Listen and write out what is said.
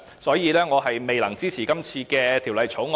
所以，我不能支持這項《條例草案》。